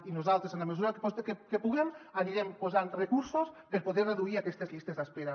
i nosaltres en la mesura que puguem hi anirem posant recursos per poder reduir aquestes llistes d’espera